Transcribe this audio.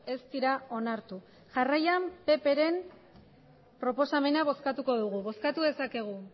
ez dira onartu jarraian ppren proposamena bozkatuko dugu bozkatu dezakegu